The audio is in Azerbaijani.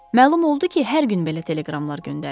Məlum oldu ki, hər gün belə teleqramlar göndərir.